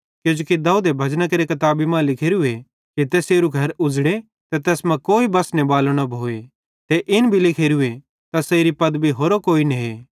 किजोकि दाऊदे भजना केरि किताबी मां लिखोरूए कि तैसेरू घर उज़ड़े ते तैस मां कोई बसने बालो न भोए ते इन भी लिखोरूए तैसेरी पदवी कोई होरो ने